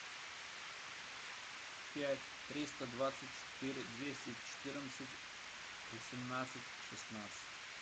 пять триста двадцать четыре двести четырнадцать восемнадцать шестнадцать